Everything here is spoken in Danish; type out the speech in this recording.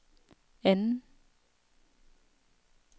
anden